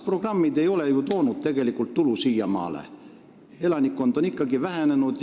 Programmid ei ole ju tegelikult siiamaale tulu toonud: elanikkond on ikkagi vähenenud.